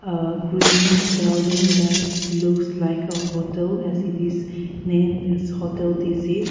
a green building that looks like a hotel as it is named as hotel tizhit.